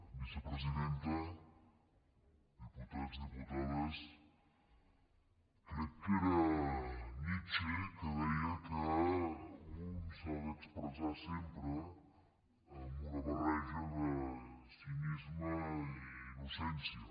vicepresidenta diputats diputades crec que era nietzsche que deia que un s’ha d’expressar sempre amb una barreja de cinisme i innocència